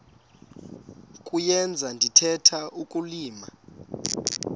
kuyenza ndithetha ukulilima